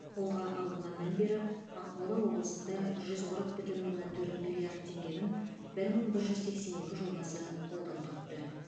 қолға алынғаннан бері ақмола облысында жүз қырық бүтін оннан төрт миллиард теңгенің бір мың бір жүз сексен екі жобасы қолдау тапты